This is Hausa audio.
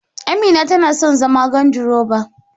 Amina tana so zama gandiroba.